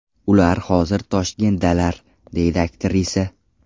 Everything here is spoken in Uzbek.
Ular hozir Toshkentdalar”, deydi aktrisa.